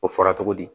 O fɔra cogo di